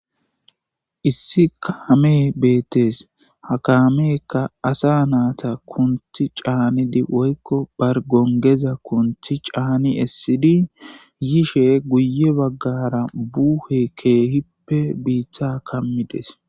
Issi kaamey beettes ha kaamekka asa naata kunthi caanidi woykko bargongeza kunthi caani essidi yishe guye baggara buuhe keehipppe biitha kammides